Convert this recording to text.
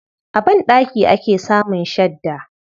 A banɗaki ake samun shadda.